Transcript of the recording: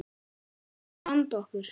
Við reynum að vanda okkur.